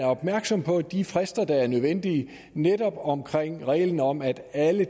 opmærksom på de frister der er nødvendige netop omkring reglen om at alle